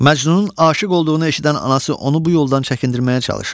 Məcnunun aşiq olduğunu eşidən anası onu bu yoldan çəkindirməyə çalışır.